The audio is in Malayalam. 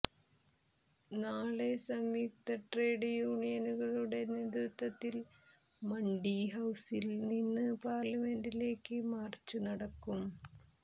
നാളെ സംയുക്ത ട്രേഡ് യൂണിയനുകളുടെ നേതൃത്വത്തിൽ മണ്ഡിഹൌസിൽനിന്ന് പാർലമെന്റിലേക്ക് മാർച്ച് നടക്കും